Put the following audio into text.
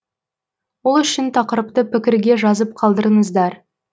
ол үшін тақырыпты пікірге жазып қалдырыңыздар